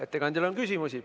Ettekandjale on küsimusi.